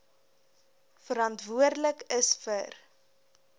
verantwoordelik is vir